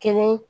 Kelen